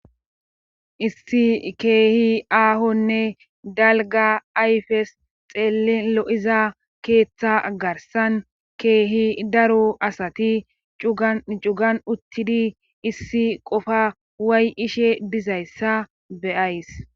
issi keehi aahonne dalga ayfes xeellin lo'iza keeththa garsan keehi daru asati cugan cugan uttidi issi qofa way ishe bizayssa be'ays